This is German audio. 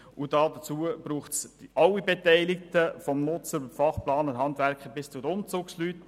Dazu brauche es alle Beteiligten vom Nutzer über die Fachplaner, vom Handwerker bis zum Umzugspersonal.